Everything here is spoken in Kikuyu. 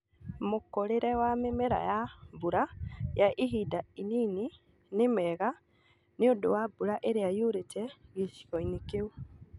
Mũkũrĩre wa mĩmera ya mbura ya ihinda inini nĩ mega nĩũndũ wa mbura ĩrĩa yurĩte gĩcigo-ini kĩu